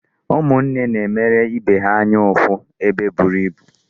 Ụmụnne na-emere ibe ha anya ụfụ ebe eburu ibu.